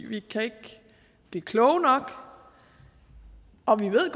vi kan ikke blive kloge nok og vi ved